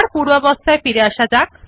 পূর্বের অবস্থায় ফিরে আসা যাক